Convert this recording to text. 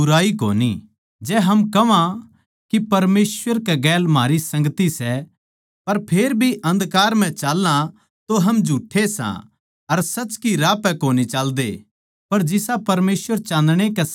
पर जिसा परमेसवर चान्दणे के समान सै उसेए हम भी चान्दणा म्ह चाल्लां तो एक दुसरे तै संगति राक्खा सां अर उसकै बेट्टै यीशु मसीह का लहू हमनै सारे पाप तै शुद्ध करै सै